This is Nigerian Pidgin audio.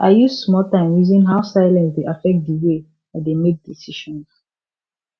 i use small time reason how silence dey affect di way i dey make decisions